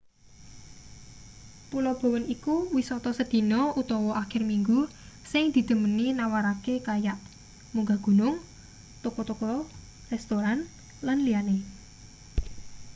pulo bowen iku wisata sedina utawa akhir minggu sing didhemeni nawarake kayak munggah gunung toko-toko restoran lan liyane